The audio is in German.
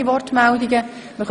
Das ist nicht der Fall.